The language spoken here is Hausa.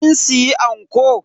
Kin siya anko?